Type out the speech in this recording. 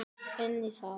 Elsku Heiðar.